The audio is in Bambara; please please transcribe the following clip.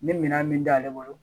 N bɛ minan min d'ale bolo